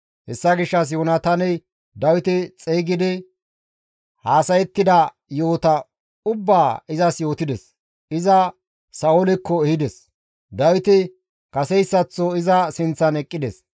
Hessa gishshas Yoonataaney Dawite xeygidi haasayettida yo7ota ubbaa izas yootides; iza Sa7oolekko ehides; Dawiti kaseyssaththo iza sinththan eqqides.